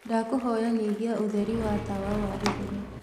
ndakũhoya nyĩhĩa utherĩ wa tawa wa iguru